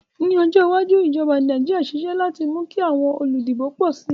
Ní ojó iwájú, ìjoba Naijiria sisé láti mú kí àwon olùdìbò pò si